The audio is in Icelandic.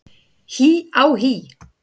HÍ á HÍ!